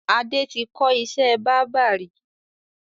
Adé tí kọ́ ìṣẹ́ báábà ri